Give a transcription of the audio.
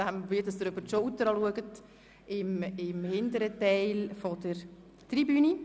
Sie sind Gäste von Grossrätin Schenk.